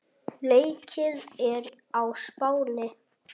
Leikið er á Spáni.